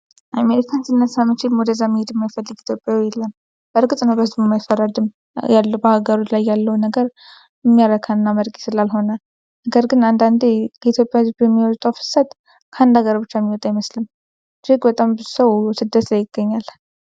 አሜሪካን ሲነሳ መቼም ወደዛ መሄድ የማይፈልግ ኢትዮጵያዊ የለም። በእርግጥ ነው በእርሱም አይፈረድም። በሀገሩ ላይ ያለው ነገር የሚያረካና አመርቂ ስላልሆነ ነው። ነገር ግን አንዳንዴ ከኢትዮጵያ ህዝብ የሚወጣው ፍሰት ከአንድ አገር ብቻ የሚወጣ ይመስላል። እጅግ በጣም ብዙ ሰው ስደት ላይ ይገኛል።